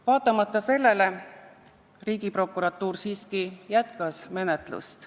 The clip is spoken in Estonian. Vaatamata sellele Riigiprokuratuur siiski jätkas menetlust.